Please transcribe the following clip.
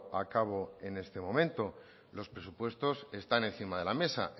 a cabo en estos momentos los presupuestos están encima de la mesa